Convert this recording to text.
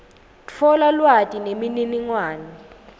tfola lwati nemininingwane